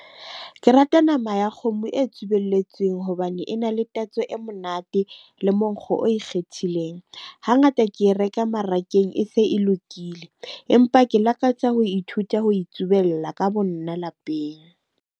Ke rata nama ya kgomo e tsubelletsweng hobane e na le tatso e monate le monkgo o ikgethileng. Ha ngata ke e reka marakeng e se e lokile. Empa ke lakatsa ho ithuta ho itsubella ka bo nna lapeng.